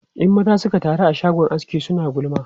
In maza suka taru a shagon aski, suna gulma.